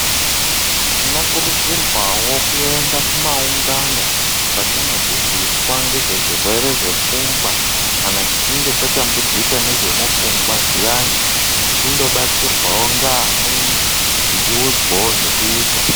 Tinokurudzirwawo kuende kumaungano, kwatinodzidziswa ngezvezvirwere zvepfungwa. Kana tichinge tatambudzika ngezvemupfungwa zviyani, tichindobatsirwawo ngeamweni tichiudzwavo zvekuita.